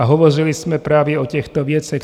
A hovořili jsme právě o těchto věcech.